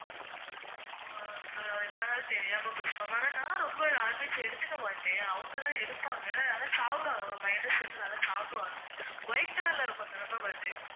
ஓ இவ்வளவு நாள் தெரியாம போச்சு ma'am ஆனா நான் ரொம்ப எடுத்துக்கமாட்டே அவங்கதான் எடுப்பாங்க ஆனா சாப்பிடுவாங்க ma'am mayonnaise வந்து நல்லா சாப்பிடுவாங்க. white colour ல இருக்கும் தானே ma'am அது